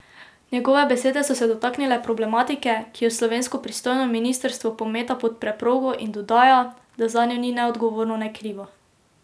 Njegove besede so se dotaknile problematike, ki jo slovensko pristojno ministrstvo pometa pod preprogo in dodaja, da zanjo ni ne odgovorno ne krivo.